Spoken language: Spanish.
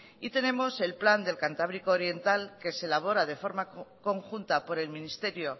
y tenemos el plan del cantábrico oriental que se elabora de forma conjunta por el ministerio